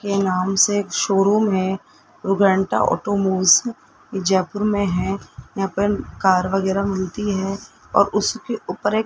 के नाम से शोरूम है रुग्णता ऑटोमोबाइल्स जयपुर में है यहां पर कार वगैरह मिलती हैं और उसके ऊपर एक--